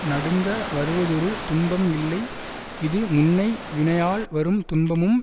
நடுங்க வருவதொரு துன்பம் இல்லை இது முன்னை வினையால் வரும் துன்பமும்